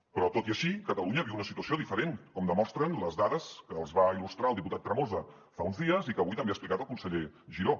però tot i així catalunya viu una situació diferent com demostren les dades que els va il·lustrar el diputat tremosa fa uns dies i que avui també ha explicat el conseller giró